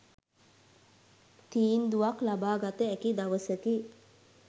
තීන්දුවක් ලබාගත හැකි දවසකි